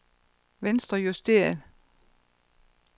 venstrejusteret